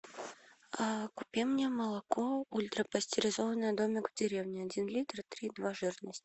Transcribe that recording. купи мне молоко ультрапастеризованное домик в деревне один литр три и два жирность